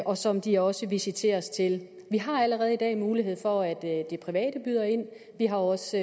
og som de også visiteres til at vi har allerede i dag mulighed for at det private kan byde ind vi har også